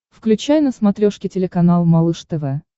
включай на смотрешке телеканал малыш тв